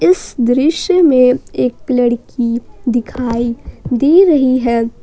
इस दृश्य में एक लड़की दिखाई दे रही है ।